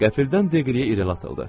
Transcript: Qəfildən Deqliyə irəli atıldı.